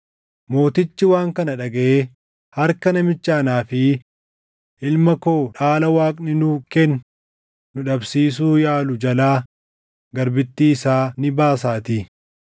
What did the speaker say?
Mootichi waan kana dhagaʼee harka namicha anaa fi ilma koo dhaala Waaqni nuu kenne nu dhabsiisuu yaaluu jalaa garbittii isaa ni baasaatii.’